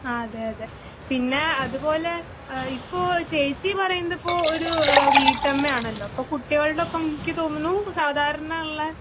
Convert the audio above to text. ആതേയതെ. പിന്നേ അതുപോലെ ഏഹ്ഇപ്പോചേച്ചിപറയുന്നതിപ്പൊ ഒര്എഹ് വീട്ടമ്മയാണല്ലൊ ആപ്പകുട്ടികൾടൊപ്പംയിക്ക്തോന്നണൂ സാധാരണള്ള